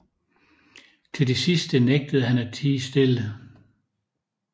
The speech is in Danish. Til det sidste nægtede han at tie stille